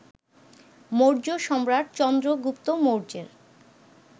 মৌর্য সম্রাট চন্দ্রগুপ্ত মৌর্যের